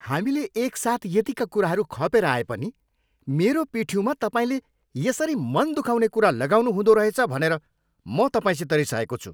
हामीले एकसाथ यतिका कुराहरू खपेर आए पनि मेरो पिठ्युमा तपाईँले यसरी मन दुखाउने कुरा लगाउनु हुँदो रहेछ भनेर म तपाईँसित रिसाएको छु।